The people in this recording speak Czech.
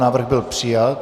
Návrh byl přijat.